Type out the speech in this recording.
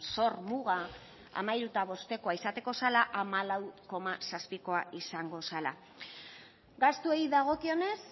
zor muga hamairu koma bostkoa izatekoa zela hamalau koma zazpikoa izango zela gastuei dagokionez